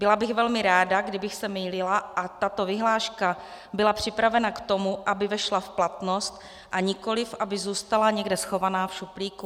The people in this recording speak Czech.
Byla bych velmi ráda, kdybych se mýlila a tato vyhláška byla připravena k tomu, aby vešla v platnost, a nikoli aby zůstala někde schovaná v šuplíku.